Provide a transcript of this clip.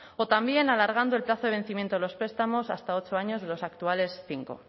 o también alargando el plazo de vencimiento de los prestamos hasta ocho años de los actuales cinco